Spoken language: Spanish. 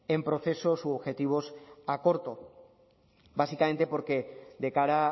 en procesos u objetivos a corto básicamente porque de cara